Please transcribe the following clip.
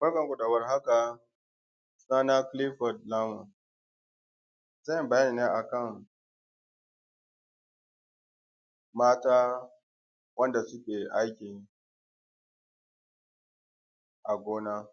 Barkanmu da warhaka sunana Kilifod Lamu zan yi bayani ne akan mata wanda suke aiki a gona.